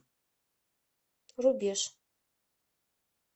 рубеж